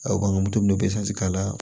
A bange moto n'o k'a la